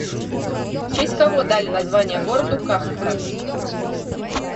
в честь кого дали название городу каховка